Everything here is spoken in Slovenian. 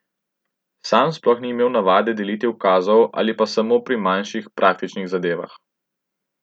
Sam sploh ni imel navade deliti ukazov ali pa samo pri manjših, praktičnih zadevah.